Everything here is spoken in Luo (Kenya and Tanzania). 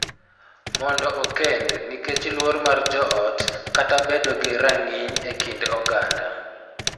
Mondo okend nikech luor mar joot kata bedo gi rang�iny e kind oganda,